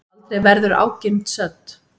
Aldrei verður ágirnd södd.